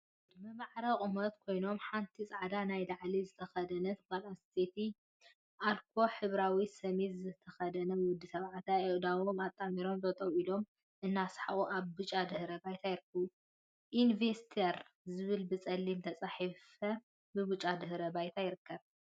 ወይ ጉድ! ብማዕረ ቁመት ኮይኖም ሓንቲ ፃዕዳ ናይ ላዕሊ ዝተከደነት ጓል እንስተይቲን አልኮ ሕብራዊ ሰሚዝ ዝተከደነ ወዲ ተባዕታይን አእዳዎም አጣሚሮም ጠጠው ኢሎም እናሰሓቁ አብ ብጫ ድሕረ ባይታ ይርከቡ፡፡ ኢንቬስተር ዝብል ብፀሊም ተፃሒፉ ብብጫ ድሕረ ባይታ ይርከብ፡፡